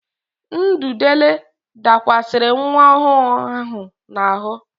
Ududele dakwasịrị nwa ọhụụ ahụ n'ahụ.